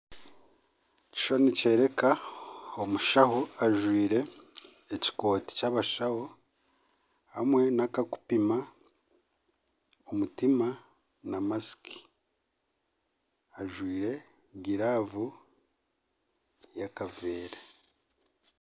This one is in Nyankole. Ekishushani nikyereka omushaho ajwire ekikooti ky'abashaho hamwe nakakupiima omutima na masiki. Ajwire giravu y'akavera.